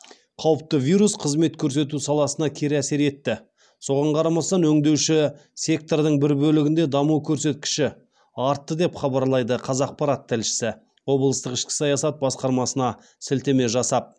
қауіпті вирус қызмет көрсету саласына кері әсер етті соған қарамастан өңдеуші сектордың бір бөлігінде даму көрсеткіші артты деп хабарлайды қазақпарат тілшісі облыстық ішкі саясат басқармасына сілтеме жасап